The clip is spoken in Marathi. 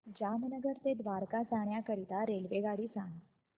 जामनगर ते द्वारका जाण्याकरीता रेल्वेगाडी सांग